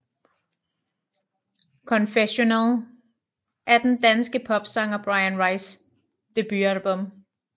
Confessional er den danske popsanger Bryan Rices debutalbum